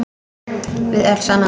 Við öll saman.